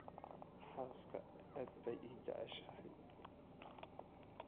Xaaska aad bay ii jeceshahay